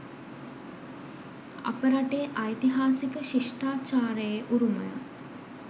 අප රටේ ඓතිහාසික ශිෂ්ඨාචාරයේ උරුමය